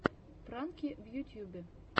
пранки в ютьюбе